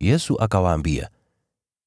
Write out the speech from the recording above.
Yesu akawaambia,